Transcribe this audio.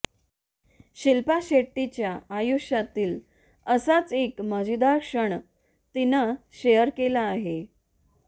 शिल्पा शेट्टीच्या आयुष्यातील असाच एक मजेदार क्षण तिनं शेअर केला आहे